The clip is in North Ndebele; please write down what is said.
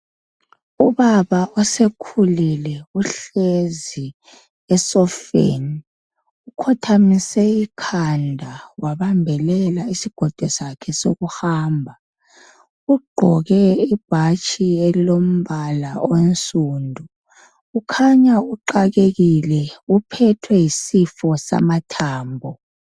Ubaba osekhulile uhlezi esofeni, ukhothamise ikhanda wabambelela isigodo sakhe soku hamba, ugqoke ibhatshi elilombala onsundu kukhanya uxakekile, uphethwe yisifo samathambo.